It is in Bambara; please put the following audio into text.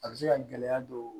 A bɛ se ka gɛlɛya don